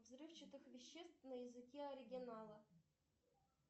взрывчатых веществ на языке оригинала